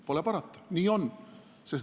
Pole parata, nii on.